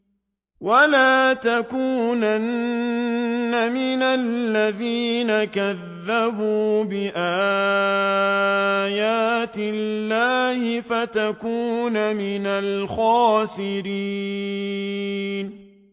وَلَا تَكُونَنَّ مِنَ الَّذِينَ كَذَّبُوا بِآيَاتِ اللَّهِ فَتَكُونَ مِنَ الْخَاسِرِينَ